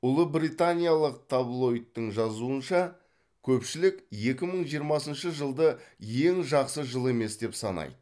ұлыбританиялық таблоидтың жазуынша көпшілік екі мың жиырмасыншы жылды ең жақсы жыл емес деп санайды